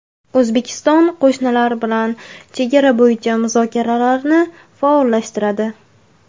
O‘zbekiston qo‘shnilar bilan chegara bo‘yicha muzokaralarni faollashtiradi.